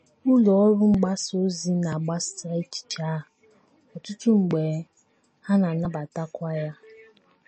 Ụlọ ọrụ mgbasa ozi na - agbasa echiche a, ọtụtụ mgbe, ha na - anabatakwa ya.